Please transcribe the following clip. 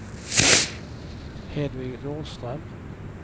Hedvig Nordström